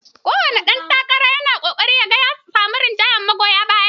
Kowane ɗan takara na ƙoƙarin ya ga ya samu rinjaye magoya baya.